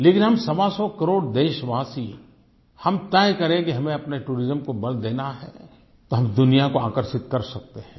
लेकिन हम सवा सौ करोड़ देशवासी हम तय करें कि हमें अपने टूरिज्म को बल देना है तो हम दुनिया को आकर्षित कर सकते हैं